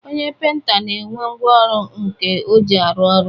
Onye penta na-enwe ngwaọrụ nke o ji arụ ọrụ